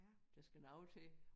Der skal noget til